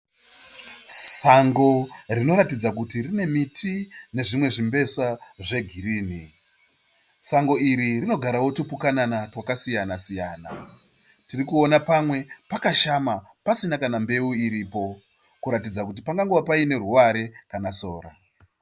Sango rinoratidza kuti rine miti nezvimwe zvimbesa zvegirini. Sango iri rinogarawo tupukunana twakasiyana siyana. Tirikuona pamwe pakashama pasina kana mbeu iripo kuratidza kuti pangangove paine ruware kana sora.